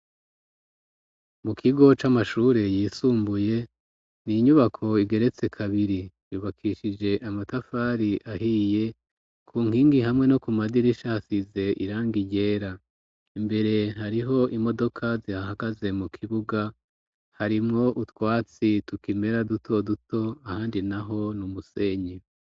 Mu kigo, c'amashure yisumbuye, ni inyubako, igeretse kabiri; yubakishije amatafari, ahiye, ku nkingi, hamwe no ku madirisha, hasize irangi ryera; imbere, hariho imodoka, zihahagaze; mu kibuga, harimwo utwatsi tukimera, duto duto, ahandi naho ni umusenyi.